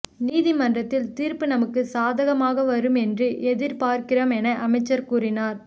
நீதிமன்றத்தில் தீர்ப்பு நமக்கு சாதகமாக வரும் என்று எதிர்பார்க்கிறோம் என அமைச்சர் கூறினார்